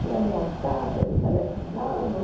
Fui ameaçada, me telefonavam.